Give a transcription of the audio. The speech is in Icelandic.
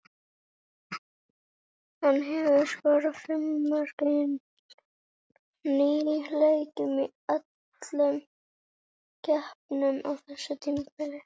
Hann hefur skorað fimm mörk í níu leikjum í öllum keppnum á þessu tímabili.